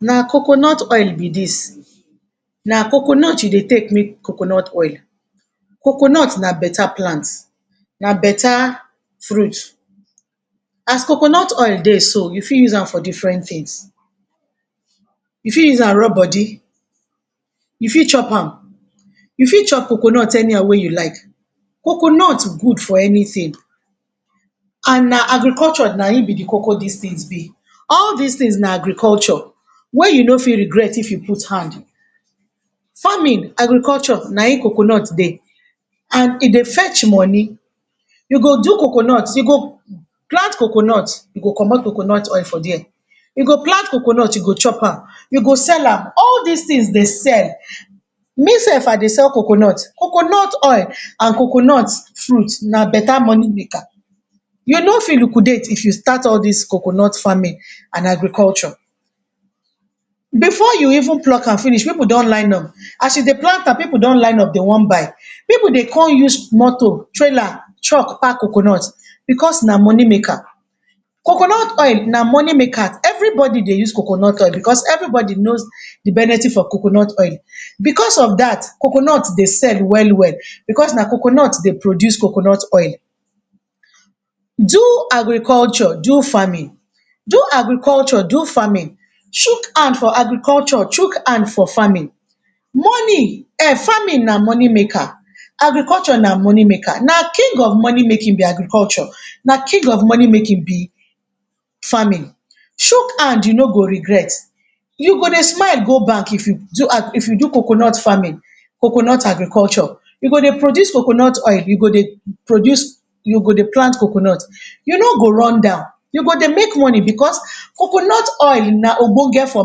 Na coconut oil be dis na coconut you dey take make coconut oil, coconut na better plant na better fruit as coconut oil dey so u for use am for different things, u fir use an rub body u fit chop am, u fit chop coconut anyhow wey u like, coconut good for anything and na agriculture na hin be de coco dis bizness, all dis things na agriculture wey u no fit regret if I put hand, farming agriculture na hin coconut dey, and e dey fetch money u go do coconut, u go plant coconut, come coconut oil for there, u go plant coconut u go chop am, u go sell am, all dis things dey sell me sef I dey sell coconut, coconut oil and coconut fruit na better money maker, u ni fit liquidate if you start all dis coconut farming and agric. Before u even pluck am finish pipu don line up, as u dey plant an pipu don line up dey wan buy, pipu dey con use moto trailer, truck con pack coconut because na money maker, coconut oil na money maker everybody dey use coconut oil because everybody know de benefits of coconut oil, because of dat coconut dey sell well well because na coconut dey produce coconut oil, do agriculture, do farming, do agriculture, do farming, chook hand for agriculture chook hand for farming, farming na money maker, agriculture na money maker, na king of money making be agriculture na king of money making be farmin, chook Hand you no go regret, u go dey smile go bank if u do coconut farming, coconut agriculture u go dey produce coconut oil u go dey plant coconut, u no go run down, u go dey make money because coconut oil na Ogbonge for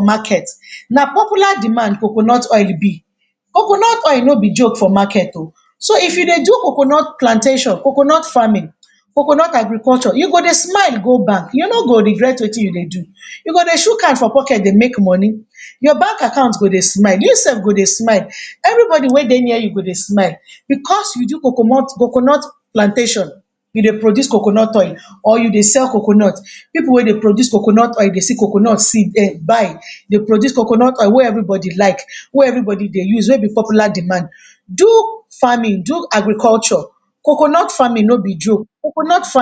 market na popular demand coconut oil be, coconut oil no be joke for market o, so if u dey do coconut plantation, coconut farming, coconut agriculture u go dey smile go bank u no go regret Wetin I dey do u go dey chook hand for pocket dey make money, your bank account go dey smile u sef go dey smile everybody wey dey near u go dey smile because u do coconut plantation, I dey produce coconut oil or u dey sell coconut, pipu wey dey sell coconut oil dey see coconut buy dey produce coconut oil wey everybody like we everybody dey use wey be popular demand, do farming do agriculture, coconut farming no be joke, coconut farming..